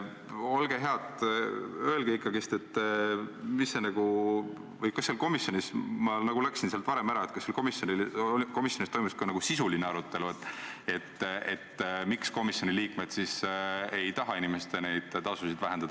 Olge head ja öelge ikkagi, kas komisjonis – ma läksin sealt varem ära – toimus ka sisuline arutelu, miks komisjoni liikmed ei taha neid inimeste makstavaid tasusid vähendada.